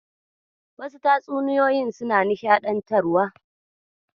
Wasu tatsuniyoyin suna nishaɗantarwa.